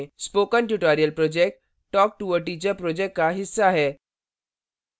spoken tutorial project talktoateacher project का हिस्सा है